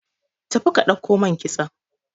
tafi ka dauko mai kitson!